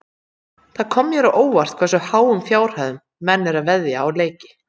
Það kom mér á óvart hversu háum fjárhæðum menn eru að veðja á leiki.